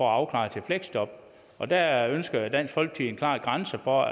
afklare til fleksjob og der ønsker dansk folkeparti klare grænser for